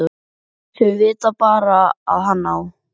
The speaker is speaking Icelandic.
Þau vita bara að hann á